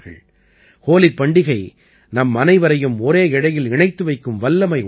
ஹோலிப் பண்டிகை நம்மனைவரையும் ஒரே இழையில் இணைத்து வைக்கும் வல்லமை உடையது